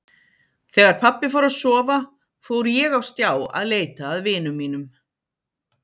Þegar pabbi fór að sofa fór ég á stjá að leita að vinum mínum.